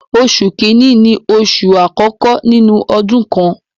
Oṣù kìíní ni oṣù àkọ́kọ́ nínú ọdún kan.